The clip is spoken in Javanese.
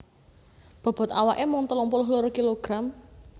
Bobot awaké mung telung puluh loro kilogram